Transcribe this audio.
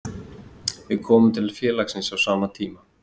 Við komum til félagsins á sama tíma.